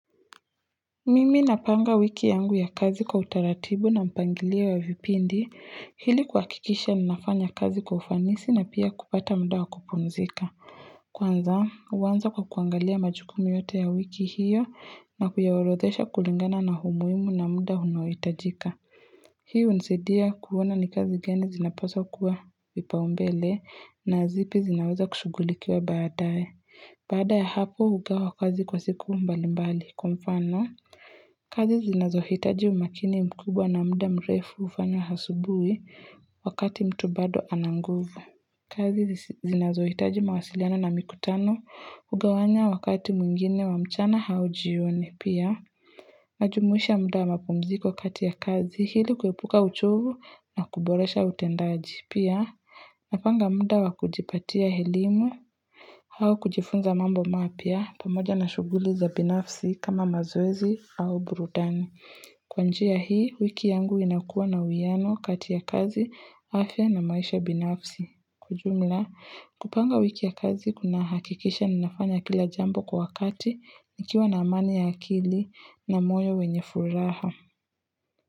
Mimi napanga wiki yangu ya kazi kwa utaratibu na mpangilio wa vipindi ili kuhakikisha ninafanya kazi kwa ufanisi na pia kupata mda wa kupumzika Kwanza huanza kwa kuangalia majukumu yote ya wiki hiyo na kuyaorodhesha kulingana na umuhimu na mda unaohitajika Hii hunisadia kuona ni kazi gani zinapaswa kuwa vipaumbele na zipi zinaweza kushughulikiwa baadae. Baada ya hapo hugawa kazi kwa siku mbali mbali kwa mfano kazi zinazohitaji umakini mkubwa na mda mrefu hufanya asubuhi wakati mtu bado ana nguvu. Kazi zinazohitaji mawasiliano na mikutano hugawanya wakati mwingine wa mchana au jioni pia. Najumuisha mda wa mapumziko kati ya kazi ili kuepuka uchovu na kuboresha utendaji pia. Napanga mda wa kujipatia elimu au kujifunza mambo mapya pamoja na shughuli za binafsi kama mazoezi au burudani. Kwa njia hii, wiki yangu inakuwa na uwiano kati ya kazi, afya na maisha binafsi. Kwa jumla, kupanga wiki ya kazi kunahakikisha ninafanya kila jambo kwa wakati nikiwa na amani ya akili na moyo wenye furaha.